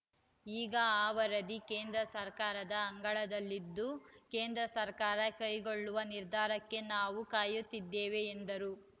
ಈಗ ಆ ವರದಿ ಕೇಂದ್ರ ಸರ್ಕಾರದ ಅಂಗಳದಲ್ಲಿದ್ದು ಕೇಂದ್ರ ಸರ್ಕಾರ ಕೈಗೊಳ್ಳುವ ನಿರ್ಧಾರಕ್ಕೆ ನಾವು ಕಾಯುತ್ತಿದ್ದೇವೆ ಎಂದರು